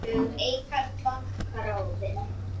Örlög Eikar banka ráðin